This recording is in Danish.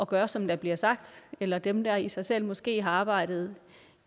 gøre som der bliver sagt eller dem der i sig selv måske har arbejdet